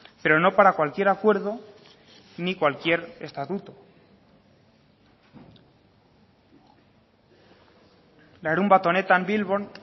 pero no para cualquier acuerdo ni cualquier estatuto larunbat honetan bilbon